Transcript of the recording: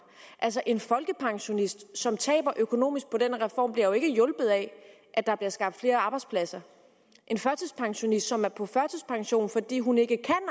altså en folkepensionist som taber økonomisk på den her reform bliver jo ikke hjulpet af at der bliver skabt flere arbejdspladser en førtidspensionist som er på førtidspension fordi hun ikke